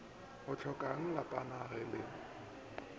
o hlokangmo lapana ga le